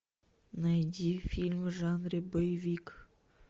найди фильм в жанре боевик